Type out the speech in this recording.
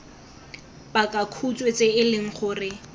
pakakhutshwe tse e leng gore